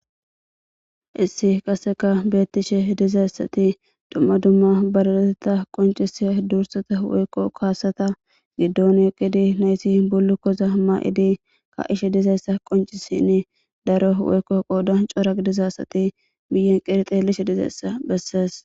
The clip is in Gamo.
Issi qaseka beettishe dizayssati dumma dumma baraleteta qoncise dursata woykko kaasata giddon eqidi nayti bulu koza ma7idi ka ishe dizayssa qoncisinn daro woykko qodan coraq dizaysati biyen qirixeelishe dizayssa bessees.